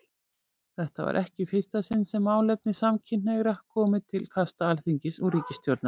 Þetta var ekki í fyrsta sinn sem málefni samkynhneigðra komu til kasta Alþingis og ríkisstjórnar.